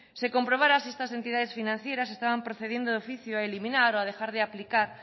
se comprobara si estas entidades financieras estaban procediendo de oficio a eliminar o a dejar de aplicar